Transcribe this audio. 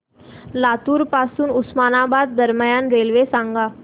लातूर पासून उस्मानाबाद दरम्यान रेल्वे सांगा